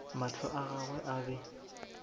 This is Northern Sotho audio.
mahlo a gagwe a be